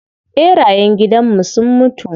ɓerayen gidanmu sun mutu.